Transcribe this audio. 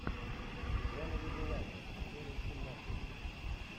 игра на выбывание серия семнадцать